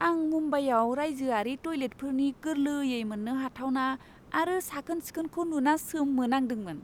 आं मुम्बाइआव रायजोआरि टयलेटफोरनि गोरलैयै मोननो हाथावना आरो साखोन सिखोनखौ नुना सोमोनांदोंमोन।